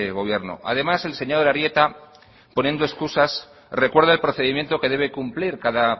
gobierno además el señor arieta poniendo escusas recuerda el procedimiento que debe cumplir cada